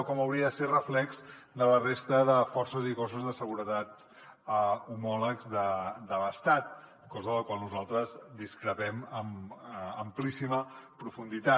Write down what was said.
o com hauria de ser reflex de la resta de forces i cossos de seguretat homòlegs de l’estat cosa de la qual nosaltres discrepem amb amplíssima profunditat